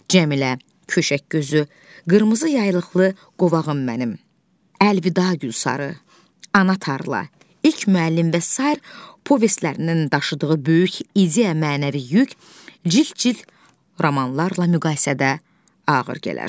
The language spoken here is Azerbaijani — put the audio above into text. Cəmilə, Köşək Gözü, Qırmızı Yaylıqlı Qovağım Mənim, Əlvida Gülsarı, Ana Tarla, İlk Müəllim və sair povestlərindən daşıdığı böyük ideya mənəvi yük cild-cild romanlarla müqayisədə ağır gələr.